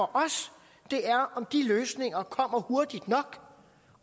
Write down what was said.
det er om de løsninger kommer hurtigt nok